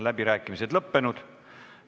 Läbirääkimised on lõppenud.